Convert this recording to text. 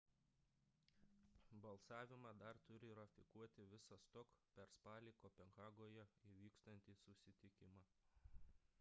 balsavimą dar turi ratifikuoti visas tok per spalį kopenhagoje įvyksiantį susitikimą